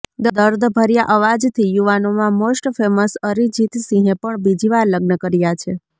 દર્દભર્યા અવાજથી યુવાનોમાં most famous Arijit સિંહે પણ બીજી વાર લગ્ન કર્યાં છે